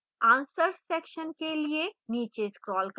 answers section के लिए नीचे scroll करें